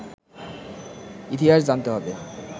ইতিহাস জানতে হবে